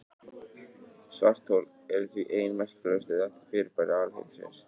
Svarthol eru því ein merkilegustu þekktu fyrirbæri alheimsins.